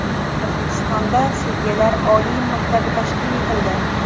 O‘zbekistonda sudyalar oliy maktabi tashkil etildi.